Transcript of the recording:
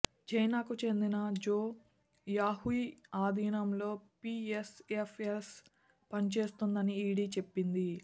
చైనాకు చెందిన Zhou Yahui అధీనంలో పీఎస్ఎఫ్ఎస్ పనిచేస్తోందని ఈడీ చెప్పింది